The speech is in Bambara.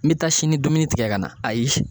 N be taa sini dumuni tigɛ ka na, ayi.